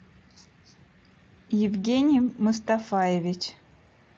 евгений мустафаевич